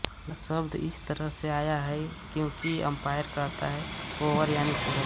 यह शब्द इस तरह से आया है क्योंकि अंपायर कहता है ओवर यानि पूरा